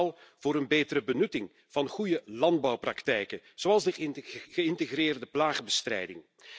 We ijveren vooral voor een betere benutting van goede landbouwpraktijken, zoals de geïntegreerde plaagbestrijding.